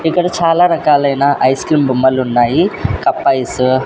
ఇక్కడ చాలా రకాలైన ఐస్ క్రీమ్ బొమ్మలు ఉన్నాయి. Cup ice --